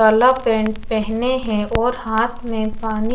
काला पैन्ट पहने है और हाथ में पनि--